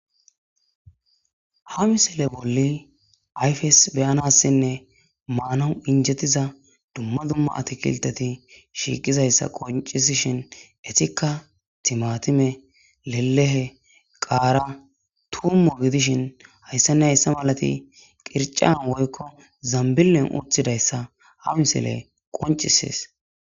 ha misile bolli ayfes be7anassinne maanawu injettiza dumma dumma atkilteti shiiqizayssa qoncisishin etikka timatime lelehe qaara tummo gidishin hayssane hayssa malati qircan woykko zambillen uttidayssa ha misile qonccises.